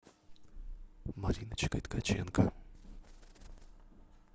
мариночкой ткаченко